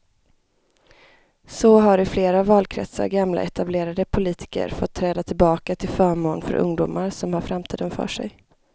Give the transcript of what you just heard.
Så har i flera valkretsar gamla etablerade politiker fått träda tillbaka till förmån för ungdomar som har framtiden för sig.